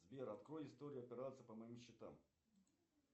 сбер открой историю операций по моим счетам